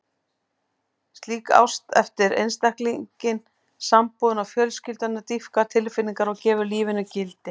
Slík ást eflir einstaklinginn, sambúðina og fjölskylduna, dýpkar tilfinningar og gefur lífinu gildi.